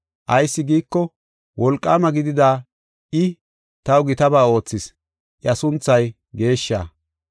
Ayis giiko, wolqaama gidida I, taw gitaba oothis. Iya sunthay Geeshshaa.